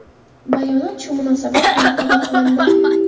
Bayonot shu munosabat bilan qabul qilindi.